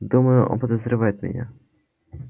думаю он подозревает меня